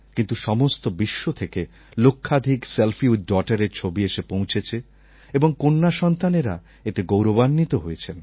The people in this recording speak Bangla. কিন্তু সমস্ত বিশ্ব থেকে লক্ষাধিক সেলফি উইথ daughterএর ছবি এসে পৌঁছেছে এবং কন্যাসন্তানেরা এতে গৌরবান্বিত হয়েছেন